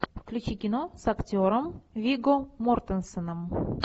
включи кино с актером вигго мортенсеном